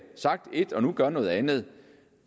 sagt ét og nu gør noget andet